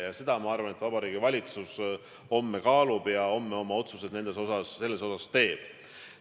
Ja ma arvan, et Vabariigi Valitsus homme seda kaalub ja homme oma otsused selles osas ka teeb.